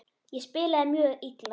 Ég spilaði mjög illa.